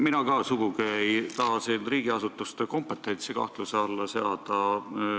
Mina ka sugugi ei taha riigiasutuste kompetentsi kahtluse alla seada.